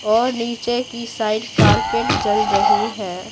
और नीचे की साइड कारपेट जल रही है।